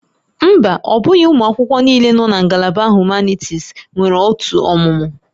Mba, ọ bụghị ụmụ akwụkwọ niile nọ na ngalaba nke Humanities nwere otu ọmụmụ